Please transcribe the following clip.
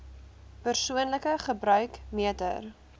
persoonlike gebruik meter